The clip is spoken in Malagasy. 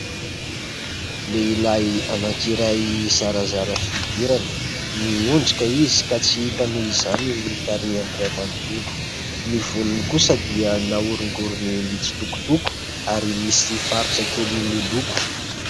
Lehilahy anankiray zarazara fihodirana. Miondrika izy ka tsy hita noho izany ny tarehiny iray manontolo. Ny volony kosa dia nahorongorony mitsitokotoko ary misy faritra kely miloko.